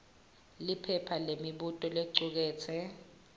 liphepha lemibuto licuketse